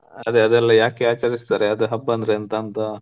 ಅದೇ ಅದೆಲ್ಲ ಯಾಕೆ ಆಚರಿಸ್ತಾರೆ ಅದ್ ಹಬ್ಬ ಅಂದ್ರೆ ಎಂತ ಅಂತ.